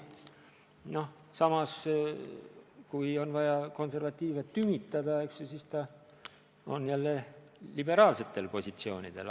Noh, samas kui on vaja konservatiive tümitada, eks ju, siis ta on jälle liberaalsetel positsioonidel.